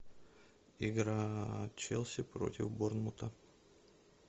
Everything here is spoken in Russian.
игра челси против борнмута